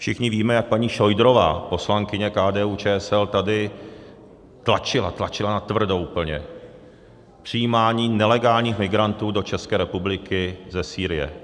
Všichni víme, jak paní Šojdrová, poslankyně KDU-ČSL, tady tlačila, tlačila natvrdo úplně k přijímání nelegálních migrantů do České republiky ze Sýrie.